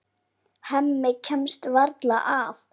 Hemmi kemst varla að.